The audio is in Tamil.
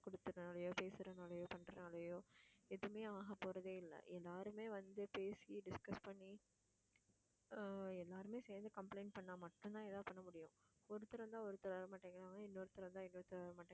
குடுத்ததுனாலயோ பேசுறதுனாலயோ பண்றதுனாலயோ எதுவுமே ஆக போறதே இல்ல யாருமே வந்து பேசி discuss பண்ணி ஆஹ் எல்லாருமே சேர்ந்து complaint பண்ணா மட்டும்தான் எதாவது பண்ண முடியும் ஒருத்தர் வந்தா ஒருத்தர் வரமாட்டேங்கறாங்க. இன்னொருத்தர் வந்தால் இன்னொருத்தர் வரமாட்டேங்கறாங்க.